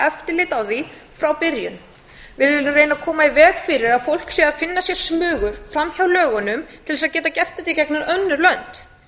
eftirlit á því frá byrjun við viljum reyna að koma í veg fyrir að fólk sé að finna sér smugu fram hjá lögunum til að geta gert þetta í gegnum önnur lönd